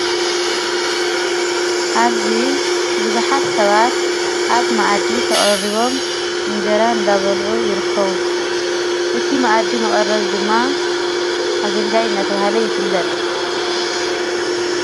ኣዚ ብዙኃት ሰባት ኣብ መዓዲ ተቐሪቦም እንጀራ እንዳበልዑ ይርከዉ እቲ መኣዲ መቐረብ ድማ ኣገልጋይ እናተብሃለ ይፍለጥ።